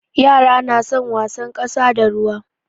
Yara na son wasan ƙasa da ruwa.